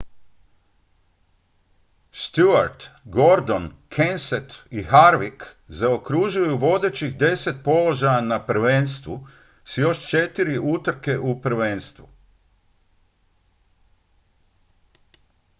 stewart gordon kenseth i harvick zaokružuju vodećih deset položaja na prvenstvu s još četiri utrke u prvenstvu